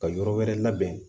Ka yɔrɔ wɛrɛ labɛn